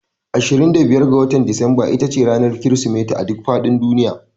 25 ga Disamba ita ce ranar Kirsimeti a duk faɗin duniya